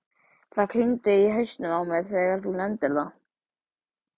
Það klingdi í hausnum á mér þegar þú nefndir það.